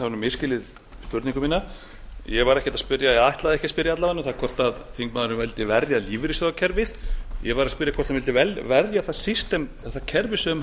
hafi misskilið spurningu mína ég var ekki að spyrja eða ætlaði ekki að spyrja alla vega um það hvort þingmaðurinn vildi verja lífeyrissjóðakerfið ég var að spyrja hvort hann vildi verja það kerfi sem